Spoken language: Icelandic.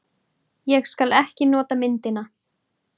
Ég skal ekki nota myndina.